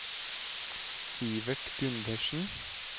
Sivert Gundersen